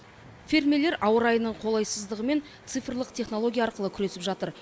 фермерлер ауа райының қолайсыздығымен цифрлық технология арқылы күресіп жатыр